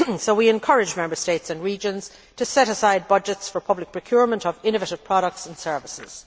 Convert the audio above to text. So we encourage Member States and regions to set aside budgets for public procurement of innovative products and services.